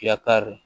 Fiya kari